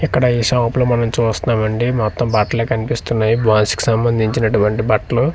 ఇక్కడ ఈ షాప్ లో మనం చూస్తున్నాం అండి మొత్తం బట్లే కన్పిస్తున్నాయి బాయ్స్ కు సంబంధించినటువంటి బట్లు .